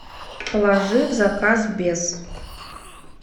положи в заказ без